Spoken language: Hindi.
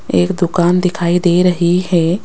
एक दुकान दिखाई दे रही है।